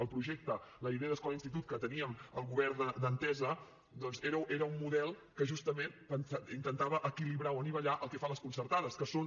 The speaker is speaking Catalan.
el projecte la idea d’escola institut que teníem el govern d’entesa doncs era un model que justament intentava equilibrar o anivellar el que fan les concertades que són